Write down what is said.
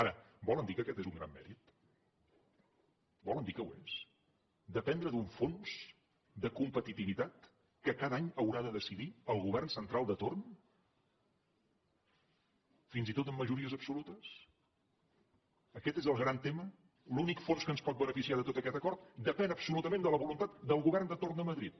ara volen dir que aquest és un gran mèrit volen dir que ho és dependre d’un fons de competitivitat que cada any haurà de decidir el govern central de torn fins i tot amb majories absolutes aquest és el gran tema l’únic fons que ens pot beneficiar de tot aquest acord depèn absolutament de la voluntat del govern de torn de madrid